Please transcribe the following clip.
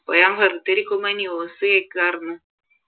അപ്പൊ ഞാൻ വെറുതെ ഇരിക്കുമ്പം news കേൾക്കുവാരുന്ന്